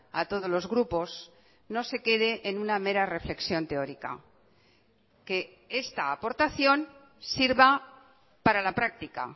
a todos los grupos no se quede en una mera reflexión teórica que esta aportación sirva para la práctica